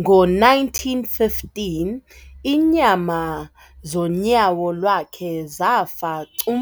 Ngo1915, iinyama zonyawo lwakhe zafa cum